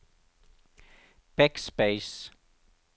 backspace